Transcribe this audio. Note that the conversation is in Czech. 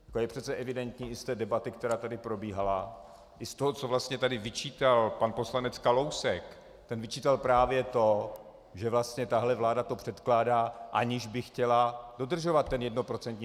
Je přece evidentní i z té debaty, která tady probíhala, i z toho, co vlastně tady vyčítal pan poslanec Kalousek - ten vyčítal právě to, že vlastně tahle vláda to předkládá, aniž by chtěla dodržovat ten jednoprocentní...